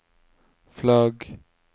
flagg